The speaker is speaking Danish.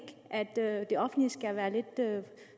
at det offentlige